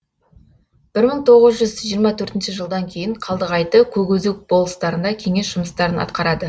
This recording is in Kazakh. бір мың тоғыз жиырма төртінші жылдан кейін қалдығайты көкөзек болыстарында кеңес жұмыстарын атқарады